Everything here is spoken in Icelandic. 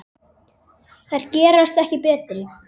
Þær gerast ekki betri.